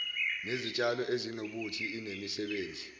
nezitshalo ezinobuthi inemisebenzi